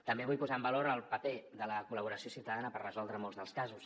també vull posar en valor el paper de la col·laboració ciutadana per resoldre molts dels casos